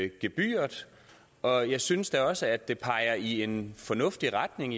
gebyret og jeg synes da også at det peger i en fornuftig retning